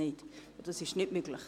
Das ist nicht möglich.